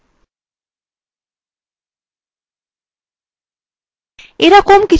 এখন কি হবে যদি অসাবধানতাবশত আমরা একটি গুরুত্বপূর্ণ file কে overwritten করি